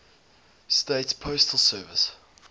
states postal service